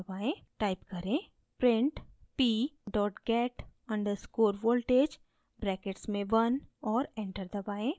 type करें: print p get _ voltage brackets में 1 और एंटर दबाएँ